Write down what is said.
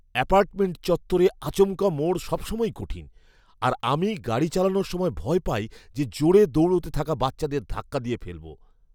Apartment চত্বরে আচমকা মোড় সবসময়ই কঠিন, আর আমি গাড়ি চালানোর সময় ভয় পাই যে জোরে দৌড়তে থাকা বাচ্চাদের ধাক্কা দিয়ে ফেলব।